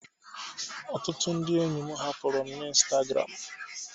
Ọtụtụ ndị enyi m hapụrụ'm na Instagram